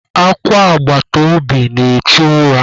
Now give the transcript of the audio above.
Akwa agbataobi na-echu ura.